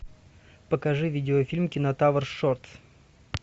покажи видеофильм кинотавр шортс